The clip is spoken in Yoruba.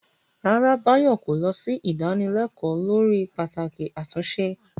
Rárá, Bayo kò lọ sí ìdánilẹ́kọ̀ọ́ lórí pàtàkì àtúnṣe.